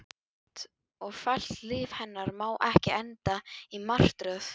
Slétt og fellt líf hennar má ekki enda í martröð.